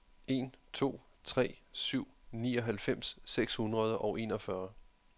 en to tre syv nioghalvfems seks hundrede og enogfyrre